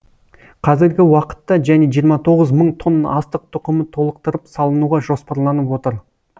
қазіргі уақытта және жиырма тоғыз мың тонна астық тұқымы толықтырып салынуға жоспарланып отыр